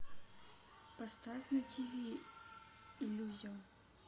поставь на тиви иллюзион